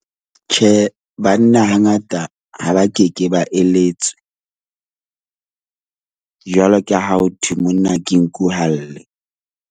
Tjhe, banna ha ngata ha ba keke ba eletswe jwalo ka ha ho thwe monna ke nku ha lle.